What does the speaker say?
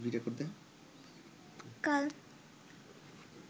কাল